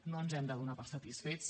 no ens hem de donar per satisfets